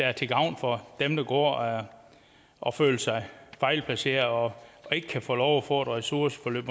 er til gavn for dem der går og og føler sig fejlplaceret og ikke kan få lov at få et ressourceforløb